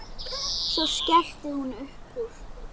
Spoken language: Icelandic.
Svo skellti hún upp úr.